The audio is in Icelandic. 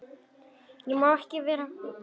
Ég má ekki við miklu.